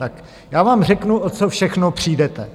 Tak já vám řeknu, o co všechno přijdete.